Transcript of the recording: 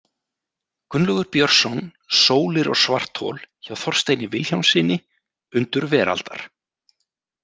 Gunnlaugur Björnsson, „Sólir og svarthol“, hjá Þorsteini Vilhjálmssyni, Undur veraldar.